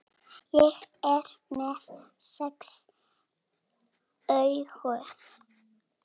Ég er með sex augu.